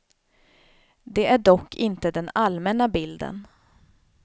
Det är dock inte den allmänna bilden.